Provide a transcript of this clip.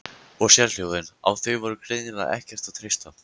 Og sérhljóðin, á þau var greinilega ekkert að treysta.